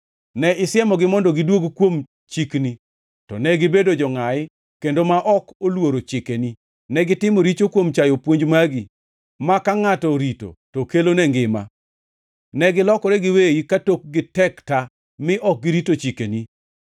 “Ne isiemogi mondo gidwog kuom chikni, to negibedo jongʼayi kendo ma ok oluoro chikeni. Negitimo richo kuom chayo puonj magi, maka ngʼato orito to kelone ngima. Negilokore giweyi ka tokgi tek ta mi ok girito chikeni.